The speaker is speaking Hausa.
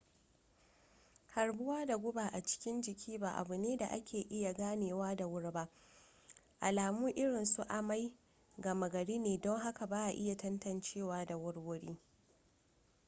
harbuwa da guba a cikin jiki ba abu ne da ake iya ganewa da wuri ba alamu irinsu amai gama gari ne don haka ba a iya tantancewa da wurwuri